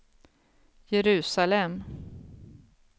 Jerusalem